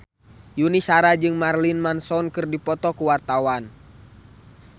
Yuni Shara jeung Marilyn Manson keur dipoto ku wartawan